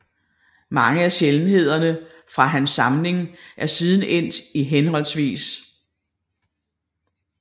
Mange af sjældenhederne fra hans samling er siden endt i hhv